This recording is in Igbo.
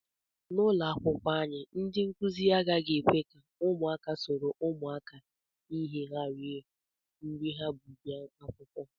N'ụlọakwụkwọ anyị, ndị nkụzi agaghị ekwe ka ụmụaka soro ụmụakwụkwọ ihe ha rie nri ha bu bịa akwụkwọ